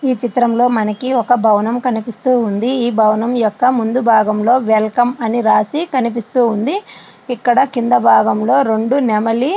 ఈ చిత్రంలో మనకి ఒక భవనం కనిపిస్తూ ఉంది. ఈ భవనం యొక్క ముందు భాగంలో వెల్కమ్ అని రాసి కనిపిస్తూ ఉంది . వెనకాతల భాగంలోను--